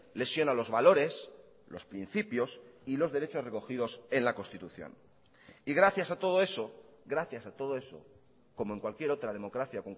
lesiona los valores los principios y los derechos recogidos en la constitución y gracias a todo eso gracias a todo eso como en cualquier otra democracia